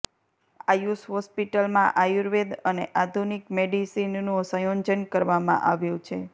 આયુષ હોસ્પિટલમાં આયુર્વેદ અને આધુનિક મેડિસિનનું સંયોજન કરવામાં આવ્યું છે